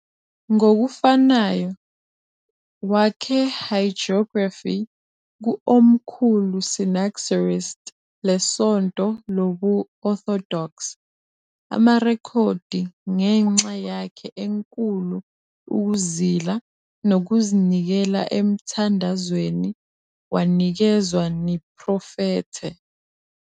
Ngokufanayo, wakhe hagiography ku "Omkhulu Synaxaristes leSonto Lobu-Orthodox" amarekhodi ngenxa yakhe enkulu ukuzila nokuzinikela emthandazweni wanikezwa niprofethe.